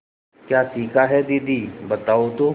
क्या सीखा है दीदी बताओ तो